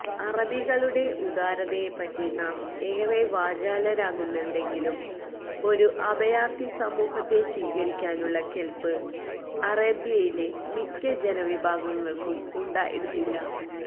അറബികളുടെ ഉദാരതയെപ്പറ്റി നാം ഏറെ വാചാലരാകുന്നുണ്ടെങ്കിലും ഒരു അഭയാര്ഥി സമൂഹത്തെ സ്വീകരിക്കാനുള്ള കെല്പ്പ് അറേബ്യയിലെ മിക്ക ജനവിഭാഗങ്ങള്ക്കും ഉണ്ടായിരുന്നില്ല